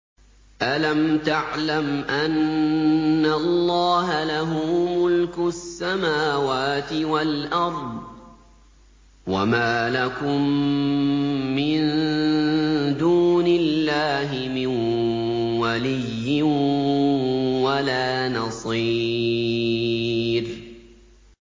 أَلَمْ تَعْلَمْ أَنَّ اللَّهَ لَهُ مُلْكُ السَّمَاوَاتِ وَالْأَرْضِ ۗ وَمَا لَكُم مِّن دُونِ اللَّهِ مِن وَلِيٍّ وَلَا نَصِيرٍ